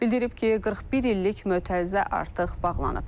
Bildirib ki, 41 illik mötərizə artıq bağlanıb.